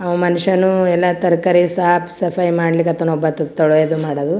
ಅಹ್ ಮನಷ್ಯನು ಎಲ್ಲಾ ತರಕಾರಿ ಸಾಪ್ ಸಪಾಯಿ ಮಾಡ್ಲಿಕತ್ತನ್ ಒಬ್ಬಾತು ತೊಳೆಯೋದು ಮಾಡೋದು .